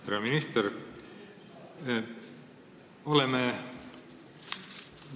Hea minister!